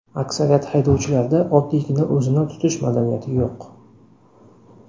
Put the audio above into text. Aksariyat haydovchilarda oddiygina o‘zini tutish madaniyati yo‘q”.